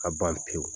Ka ban pewu